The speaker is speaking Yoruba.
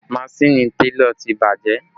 Maṣini télọ̀ ti bàjẹ́